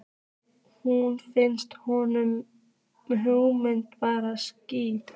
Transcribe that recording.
Nú finnst honum hugmyndin bara skrýtin.